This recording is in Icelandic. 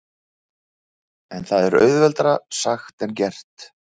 En það er auðveldara sagt en gert.